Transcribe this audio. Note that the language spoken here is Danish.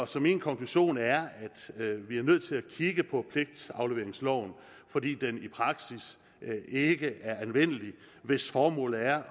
så min konklusion er at vi er nødt til at kigge på pligtafleveringsloven fordi den i praksis ikke er anvendelig hvis formålet er